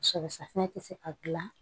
Sɔ safunɛ tɛ se ka dilan